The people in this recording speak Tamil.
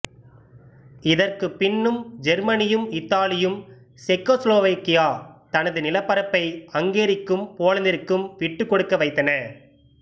இதற்குப் பின்னும் ஜெர்மனியும் இத்தாலியும் செக்கோஸ்லோவாக்கியா தனது நிலப்பரப்பை ஹங்கேரிக்கும் போலந்திற்கும் விட்டுக் கொடுக்க வைத்தன